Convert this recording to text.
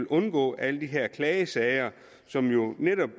undgå alle de her klagesager som jo netop